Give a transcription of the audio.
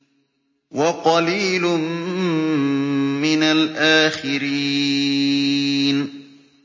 وَقَلِيلٌ مِّنَ الْآخِرِينَ